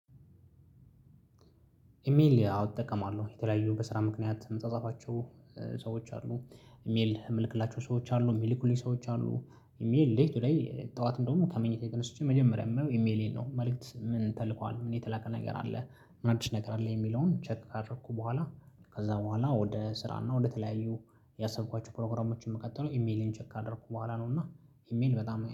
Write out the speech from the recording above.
ኢሜል አዎ እጠቀማለሁ። የተለያዩ በስራ ምክንያት ምጻጻፋቸው ሰዎች አሉ። ኢሜል የምልክላቸው ሰዎች አሉ፣ የሚልኩልኝ ሰዎች አሉ። ኢሜል ሌልቱ ላይ፣ ጠዋት እንደውም ከመኝታ የቀነስቼ መጀመሪያ የማየው ኢሜሌን ነው። መልእክት ምን ተልኳል፤ ምን የተላከ ነገር አለ፣ ምን አዲስ ነገር አለ የሚለውን ቼክ ካረኩ በኋላ ከዛ በኋላ ወደ ስራ እና ወደ ተለያዩ ያሰብኳችሁ ፕሮግራሞችን ምቀጥለው ኢሜሌን ቼክ አደረኩ በኋላ ነው። እና ኢሜል በጣም